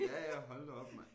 Ja ja hold nu op mand